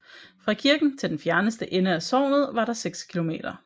Fra kirken til den fjerneste ende af sognet var der 6 km